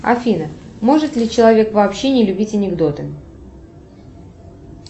афина может ли человек вообще не любить анекдоты